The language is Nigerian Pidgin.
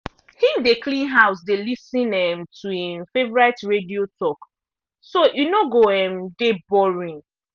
him dey clean house dey lis ten um to i'm favourite radio talk so e no go um dey boring.